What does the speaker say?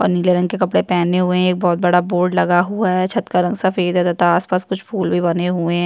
और नीले रंग के कपड़े पहने हुए है और एक बहोत बड़ा बोर्ड लगा हुआ है छत का रंग सफ़ेद है तथा आसपास कुछ फूल भी बने हुए है।